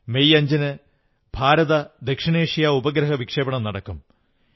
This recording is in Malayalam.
മെയ് 5 ന് ഭാരത ദക്ഷിണേഷ്യാ ഉപഗ്രഹവിക്ഷേപണം നടക്കും